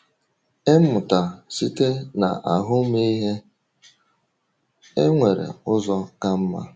Ịmụta Site na Ahụmịhe: um E nwere Ụzọ Ka Mma